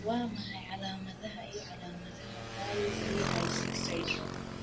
Waa maxay calaamadaha iyo calaamadaha IVIC syndrome?